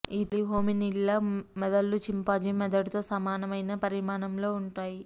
ఈ తొలి హోమినిన్ల మెదళ్ళు చింపాంజీ మెదడుతో సమానమైన పరిమాణంలో ఉన్నాయి